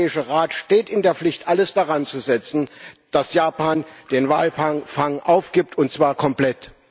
Der Europäische Rat steht in der Pflicht, alles daran zu setzen, dass Japan den Walfang aufgibt, und zwar komplett.